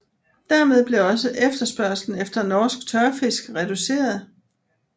Dermed blev også efterspørgslen efter norsk tørfisk reduceret